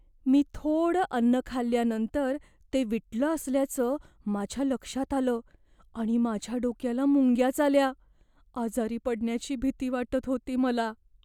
मी थोडं अन्न खाल्ल्यानंतर ते विटलं असल्याचं माझ्या लक्षात आलं आणि माझ्या डोक्याला मुंग्याच आल्या. आजारी पडण्याची भीती वाटत होती मला.